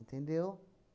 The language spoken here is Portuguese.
Entendeu?